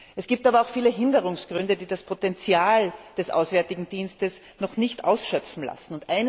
Es gibt aber auch viele Hinderungsgründe, die das Potenzial des Auswärtigen Dienstes noch nicht ausschöpfen lassen.